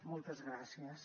moltes gràcies